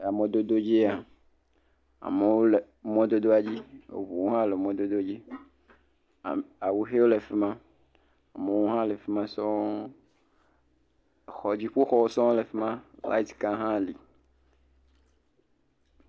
Amɔdodowo dzi ya, amewo le mɔdodoa dzi, ŋuwo hã le mɔdodo dzi, awuxewo le fi ma, amewo hã le fi ma sɔɔ, xɔ dziƒoxɔwo sɔɔle fi ma, lait ka hã le.